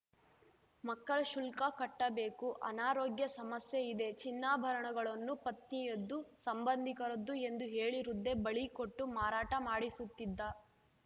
ಮಕ್ಕಳ ಶುಲ್ಕ ಕಟ್ಟಬೇಕು ಅನಾರೋಗ್ಯ ಸಮಸ್ಯೆ ಇದೆ ಚಿನ್ನಾಭರಣಗಳನ್ನು ಪತ್ನಿಯದ್ದು ಸಂಬಂಧಿಕರದ್ದು ಎಂದು ಹೇಳಿ ವೃದ್ಧೆ ಬಳಿ ಕೊಟ್ಟು ಮಾರಾಟ ಮಾಡಿಸುತ್ತಿದ್ದ